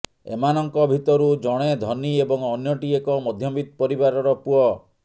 ଏମାନଙ୍କ ଭିତରୁ ଜଣେ ଧନୀ ଏବଂ ଅନ୍ୟଟି ଏକ ମଧ୍ୟବିତ୍ତ ପରିବାରର ପୁଅ